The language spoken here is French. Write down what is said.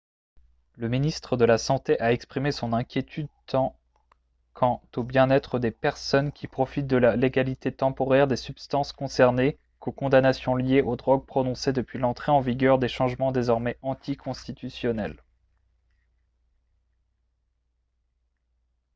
le ministre de la santé a exprimé son inquiétude tant quant au bien-être des personnes qui profitent de la légalité temporaire des substances concernées qu'aux condamnations liées aux drogues prononcées depuis l'entrée en vigueur des changements désormais anticonstitutionnels